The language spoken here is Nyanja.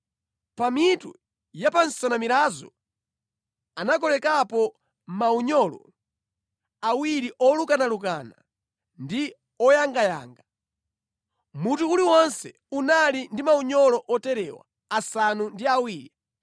Pa mitu ya pa nsanamirazo anakolekapo maunyolo awiri olukanalukana ndi oyangayanga. Mutu uliwonse unali ndi maunyolo oterewa asanu ndi awiri.